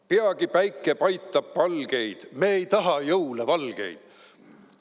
" Peagi päike paitab palgeid, me ei taha jõule valgeid.